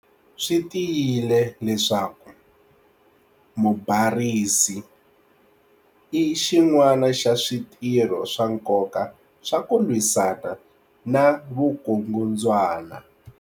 Swi tiyile leswaku 'mubarisi'i xin'wana xa switirho swa nkoka swa ku lwisana na vukungundzwana.